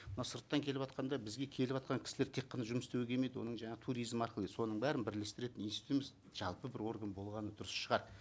мына сырттан келіватқанда бізге келіватқан кісілер тек қана жұмыс істеуге келмейді оның жаңағы туризм арқылы соның бәрін бірлестіретін институтымыз жалпы бір орган болғаны дұрыс шығар